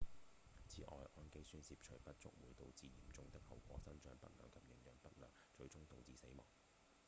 此外胺基酸攝取不足會導致嚴重的後果：生長不良及營養不良最終導致死亡